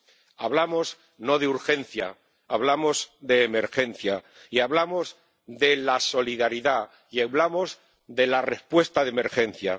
No hablamos de urgencia, hablamos de emergencia y hablamos de la solidaridad y hablamos de la respuesta de emergencia.